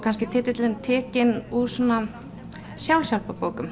titillinn tekinn úr svona